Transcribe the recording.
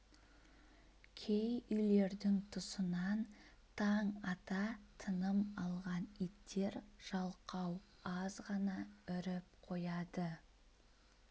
кей үйлердің тұсынан таң ата тыным алған иттер жалқау аз ғана үріп қояды